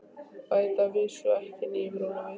Bæta að vísu ekki nýjum rullum við.